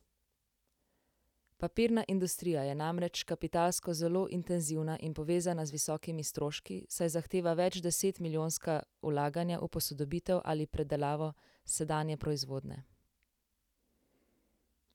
Papirna industrija je namreč kapitalsko zelo intenzivna in povezana z visokimi stroški, saj zahteva več deset milijonska vlaganja v posodobitev ali predelavo sedanje proizvodnje.